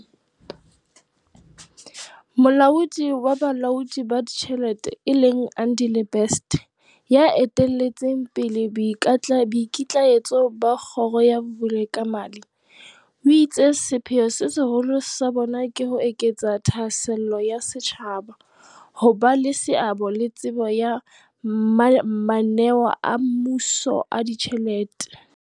Molaodi wa Bolaodi ba Ditjhelete e leng Andile Best, ya eteletseng pele boikitlaetso ba kgoro ya Vulekamali, o itse sepheo se seholo sa bona ke ho eketsa thahasello ya setjhaba, ho ba le seabo le tsebo ya mana neo a mmuso a ditjhelete.